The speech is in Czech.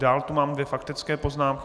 Dál tu mám dvě faktické poznámky.